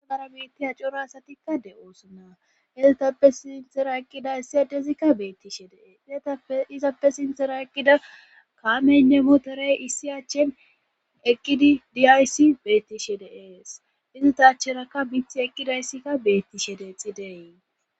Agara biittiya cora asatikka de'oosannaa elatappe sintera ekkida issi adezikka beettishe deee izatae izappe sintera ekkida kaamene moterey issi achchen eqqidi diyayssi beettishe deees izatacherakka mith eqqidayssikka beettishe deexi deey.